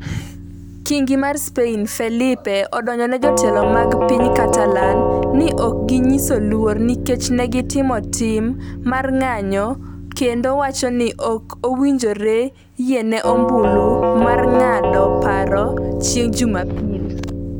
Kingi mar Spain, Felipe, odonjone jotelo mag piny Catalan ni ok ginyiso luor nikech ne gitimo tim mar ng'anjo kendo wacho ni ok owinjore yiene ombulu mar ng'ado paro chieng' Jumapil.